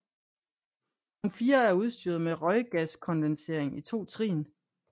Ovn 4 er udstyret med røggaskondensering i 2 trin